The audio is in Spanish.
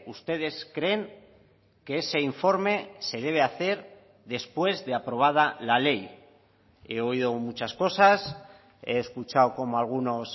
ustedes creen que ese informe se debe hacer después de aprobada la ley he oído muchas cosas he escuchado cómo algunos